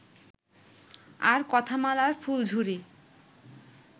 আর কথামালার ফুলঝুরি